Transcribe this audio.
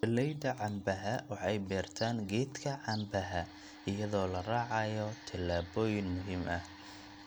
Beeraleyda canbaha waxay beertaan geedka canbaha iyadoo la raacayo tallaabooyin muhiim ah.